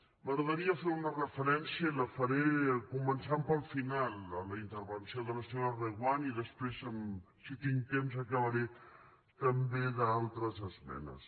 m’agradaria fer una referència i la faré començant pel final a la intervenció de la senyora reguant i després si tinc temps acabaré també d’altres esmenes